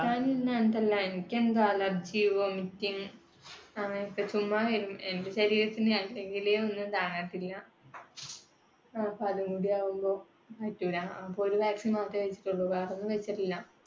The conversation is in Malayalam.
കിട്ടാനില്ലാഞ്ഞിട്ടല്ല. എനിക്ക് എന്തോ allergy, vomiting അങ്ങനത്തെ. എന്റെ ശരീരത്തിന് അല്ലെങ്കിലേ ഒന്നും താങ്ങത്തില്ല. അപ്പൊ അതും കൂടി ആവുമ്പൊ പറ്റൂല്ല. അപ്പൊ ഒരു vaccine മാത്രേ വെച്ചിട്ടുള്ളൂ വേറെയൊന്നും വെച്ചിട്ടില്ല.